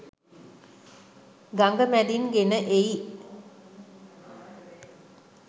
ගඟ මැදින් ගෙන එයි.